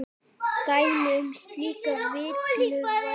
Dæmi um slíka villu væri